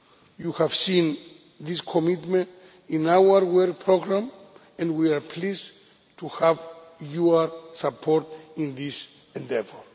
You have seen this commitment in our work programme, and we are pleased to have your support in this endeavour.